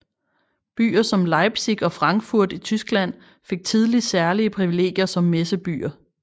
Byer som Leipzig og Frankfurt i Tyskland fik tidligt særlige privilegier som messebyer